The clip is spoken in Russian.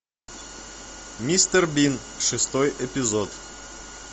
мистер бин шестой эпизод